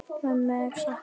Mömmu er saknað.